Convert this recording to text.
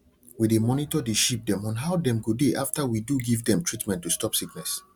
we dey monitor the sheep dem on how dem go dey after we do give dem treatment to stop sickness